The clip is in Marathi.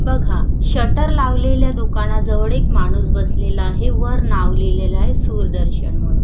बघा शटर लावलेल्या दुकानाजवळ एक माणूस बसलेला आहे वर नाव लिहिलेलं आहे सूरदर्शन म्हणून.